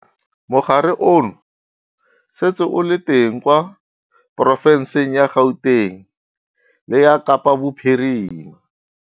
Mogare ono o setse o le teng kwa porofenseng ya Gauteng le ya Kapa Bophirima.